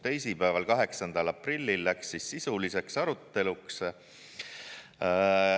Teisipäeval, 8. aprillil läks sisuliseks aruteluks.